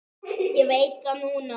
Ég veit það núna.